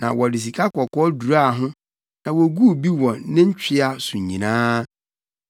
Na wɔde sikakɔkɔɔ duraa ho na woguu bi wɔ ne ntwea so nyinaa.